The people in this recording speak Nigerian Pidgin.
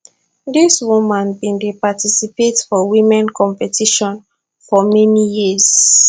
dis woman bin dey participate for women competition for many years